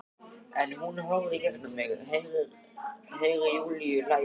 En hún horfir í gegnum mig- Heyri Júlíu hlæja.